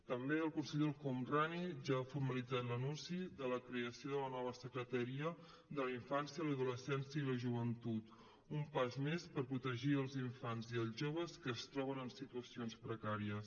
també el conseller el homrani ja ha formalitzat l’anunci de la creació de la nova secretaria de la infància l’adolescència i la joventut un pas més per protegir els infants i els joves que es troben en situacions precàries